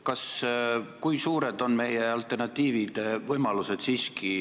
Kui suured on siiski meie alternatiivsed võimalused?